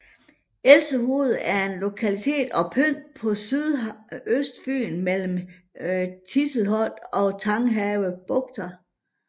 Elsehoved er en lokalitet og pynt på Sydøstfyn mellem Tiselholt og Tanghave bugter